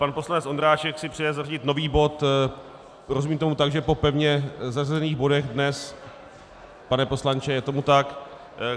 Pan poslanec Ondráček si přeje zařadit nový bod - rozumím tomu tak, že po pevně zařazených bodech dnes, pane poslanče, je tomu tak?